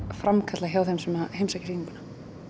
framkalla hjá þeim sem heimsækja sýninguna